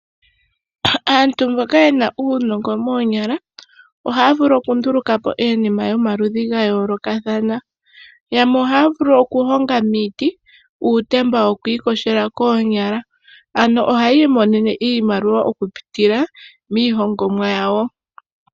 Aantu mboka yena uunongo moonyala, ohaya vulu oku nduluka po iinima yoma ludhi ga yoolokathana. Yamwe ohaya vulu oku honga miiti uutemba woku iyoga koonyala. Ano oha yi imonene iimaliwa oku pitila mii hongomwa yawo.